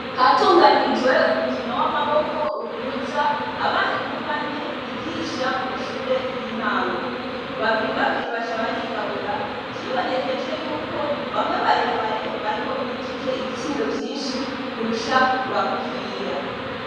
Hatunganijwe umukino w'amaboko uhuza abari mubane bigisha mu mashure y'intango babiri babiri baca barigabura vyibonekeje yuko bamwe barebare bari bo bijije ibitsindo vyinshi kurusha bagufiya.